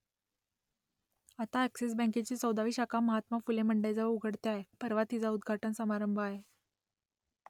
आता अ‍ॅक्सिस बँकेची चौदावी शाखा महात्मा फुले मंडईजवळ उघडते आहे परवा तिचा उद्घाटन समारंभ आहे